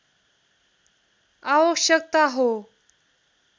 आवश्यकता हो